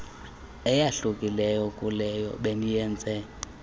eyahlukileyo kuleyo beniyenze